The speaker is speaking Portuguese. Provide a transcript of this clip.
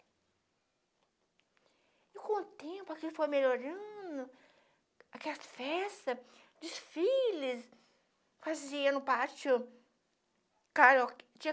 E com o tempo aqui foi melhorando, aquelas festas, desfiles, fazia no pátio, tinha karaokê, tinha